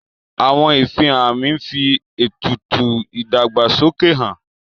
Àwọn ìfihàn àmì ń fi ètùtù ìdàgbàsókè han